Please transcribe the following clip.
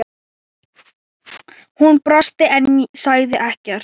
Hún brosti en sagði ekkert.